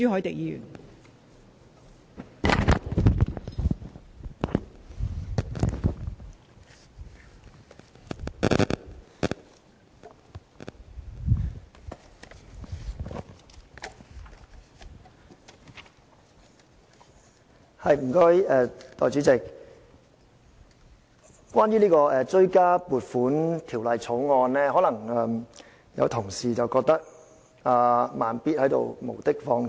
代理主席，關於這項《追加撥款條例草案》，有同事可能會認為"慢咇"是在無的放矢。